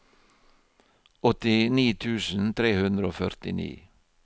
åttini tusen tre hundre og førtini